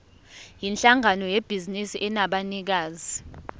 yinhlangano yebhizinisi enabanikazi